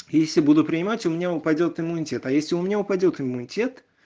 если буду принимать у меня упадёт иммунитет а если у меня упадёт иммунитет